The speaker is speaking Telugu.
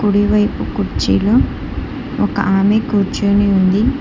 కూడి వైపు కుర్చీలు ఒక ఆమె కూర్చోని ఉంది.